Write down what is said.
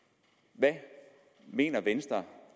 hvad mener venstre